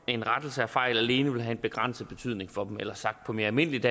en rettelse af fejl alene vil have en begrænset betydning for dem eller sagt på mere almindeligt